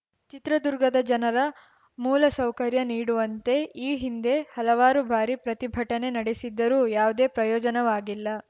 ಚಿತ್ರದುರ್ಗದ ಜನರ ಮೂಲಸೌಕರ್ಯ ನೀಡುವಂತೆ ಈ ಹಿಂದೆ ಹಲವಾರು ಬಾರಿ ಪ್ರತಿಭಟನೆ ನಡೆಸಿದ್ದರೂ ಯಾವುದೇ ಪ್ರಯೋಜನವಾಗಿಲ್ಲ